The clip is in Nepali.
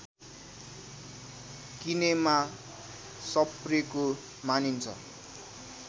किनेमा सप्रेको मानिन्छ